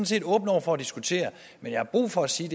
set åben over for at diskutere men jeg har brug for at sige